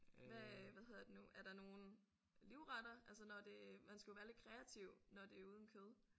Hvad øh hvad hedder det nu er der nogle livretter? Altså når det man skal jo være lidt kreativ når det er uden kød